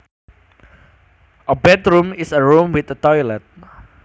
A bathroom is a room with a toilet